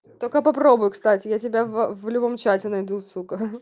только попробуй кстати я тебя в в любом чате найду сука